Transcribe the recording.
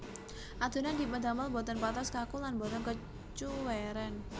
Adonan dipun damel boten patos kaku lan boten kecuwèren